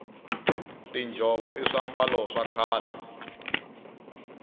tinjhovo i swiambalo swa khale